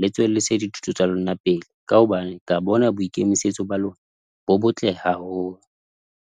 le tswe le se dithuto tsa lona pele. Ka hobane ke a bona boikemisetso ba lona, bo botle haholo.